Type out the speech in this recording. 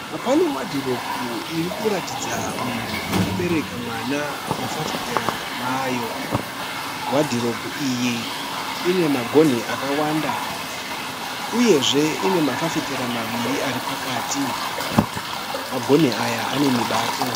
Pane Wadhiropu irikuratidza munhu akabereka mwana mufafitera mayo. Wadhiropu iyi inemagonhi akawanda, uyezve ine mafifitera maviri aripakati. Magonhi aya ane mibato.